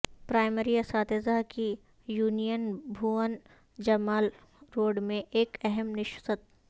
primary اساتذہ کی union بھون جمال روڈمیں ایک اہم نشست